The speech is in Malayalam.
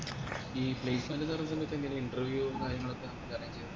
ഈ placement ന്ന് പറേന്നതൊക്കെ എങ്ങനെയാ ഈ interview കാര്യങ്ങളൊക്കെ